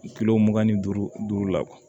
Kilo mugan ni duuru la kuwa